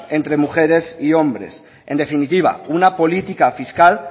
entre mujeres y hombres en definitiva una política fiscal